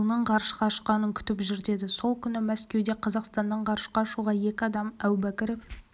ұлының ғарышқа ұшқанын күтіп жүр деді сол күні мәскеуде қазақстаннан ғарышқа ұшуға екі адам әубәкіров